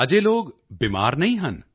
ਅਜੇ ਲੋਕ ਬਿਮਾਰ ਨਹੀਂ ਹਨ